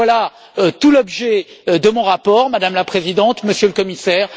Voilà tout l'objet de mon rapport, Madame la Présidente, Monsieur le Commissaire.